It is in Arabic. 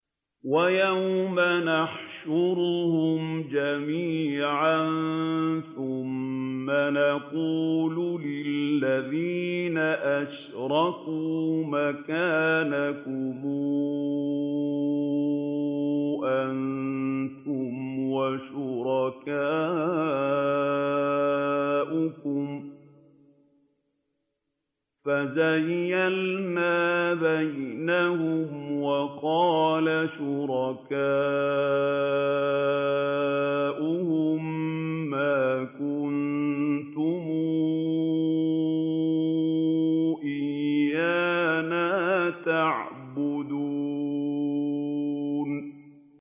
وَيَوْمَ نَحْشُرُهُمْ جَمِيعًا ثُمَّ نَقُولُ لِلَّذِينَ أَشْرَكُوا مَكَانَكُمْ أَنتُمْ وَشُرَكَاؤُكُمْ ۚ فَزَيَّلْنَا بَيْنَهُمْ ۖ وَقَالَ شُرَكَاؤُهُم مَّا كُنتُمْ إِيَّانَا تَعْبُدُونَ